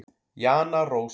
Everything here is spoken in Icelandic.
Jana Rós.